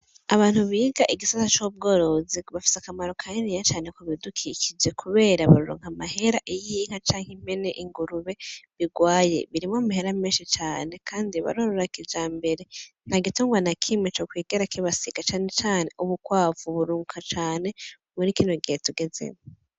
Abantu biga igisata c'ubworozi bafise akamaro kaniniya cane ku bidukikije kubera bararonka amahera iyo inka, canke impene, ingurube birwaye, birimwo amahera menshi cane kandi barorora kijambere, nta gitungwa na kimwe co kwigera kibasiga canecane ubukwavu burunguka cane muri kino gihe tugezemwo.